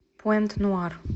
пуэнт нуар